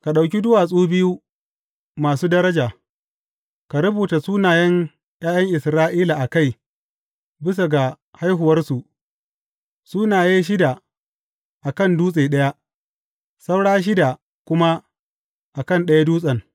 Ka ɗauki duwatsu biyu masu daraja, ka rubuta sunayen ’ya’yan Isra’ila a kai bisa ga haihuwarsu, sunaye shida a kan dutse ɗaya, saura shida kuma a kan ɗaya dutsen.